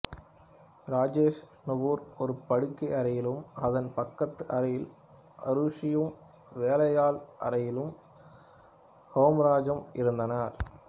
ராஜேஷ் நுபுர் ஒரு படுக்கை அறையிலும் அதன் பக்கத்து அறையில் ஆருஷியும் வேலையாள் அறையில் ஹேம்ராஜும் இருந்தனர்